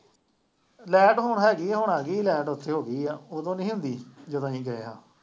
light ਹੁਣ ਹੈਗੀ, ਹੁਣ ਆ ਗਈ ਲਾਈਟ, ਉੱਥੇ ਹੋ ਗਈ ਆ, ਉਦੋਂ ਨਹੀਂ ਹੁੰਦੀ ਸੀ, ਜਦੋਂ ਅਸੀਂ ਗਏ ਹਾਂ,